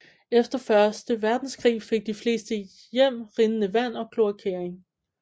Efter første verdenskrig fik de fleste hjem rindende vand og kloakering